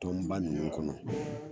Tɔn ba ninnu ba ninnu kɔnɔ